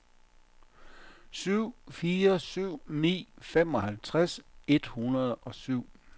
syv fire syv ni femoghalvtreds et hundrede og syv